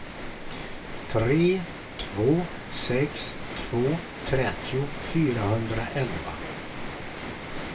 tre två sex två trettio fyrahundraelva